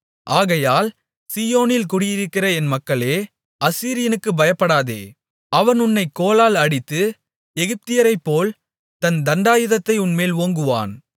ஆகையால் சீயோனில் குடியிருக்கிற என் மக்களே அசீரியனுக்குப் பயப்படாதே அவன் உன்னைக் கோலால் அடித்து எகிப்தியரைப்போல் தன் தண்டாயுதத்தை உன்மேல் ஓங்குவான்